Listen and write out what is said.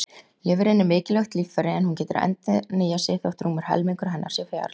Lifrin er mikilvægt líffæri en hún getur endurnýjað sig þótt rúmur helmingur hennar sé fjarlægður.